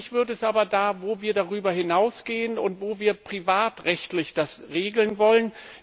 Schwierig wird es aber da, wo wir darüber hinausgehen und wo wir das privatrechtlich regeln wollen.